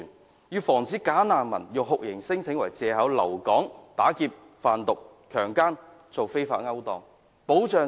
我們要阻止"假難民"以酷刑聲請為借口留港打劫、販毒、強姦或進行非法勾當。